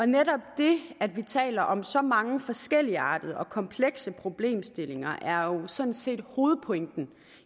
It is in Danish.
netop det at vi taler om så mange forskelligartede og komplekse problemstillinger er jo sådan set hovedpointen